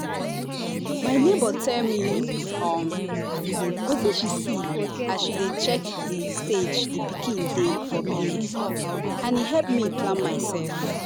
my neighbour tell me um wetin she see as she dey check the stage the pikin dey for belle and e help me plan myself.